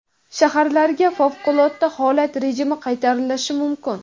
Shaharlarga favqulodda holat rejimi qaytarilishi mumkin.